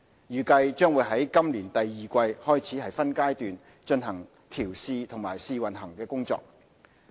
預計將會於今年第二季開始分階段進行調試和試運行的工作。